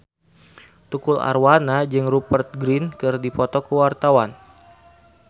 Tukul Arwana jeung Rupert Grin keur dipoto ku wartawan